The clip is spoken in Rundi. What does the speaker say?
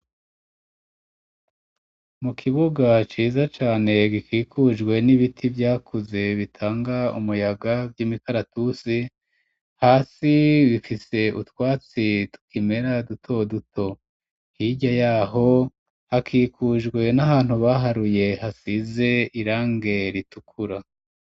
Mu kibuga, ciza cane, gikikujwe n'ibiti vyakuze, bitanga umuyaga, vy'imikaratusi; hasi bifise utwatsi, tukimera, duto duto, hirya y'aho, hakikujwe n'ahantu, baharuye, hasize irange ritukura.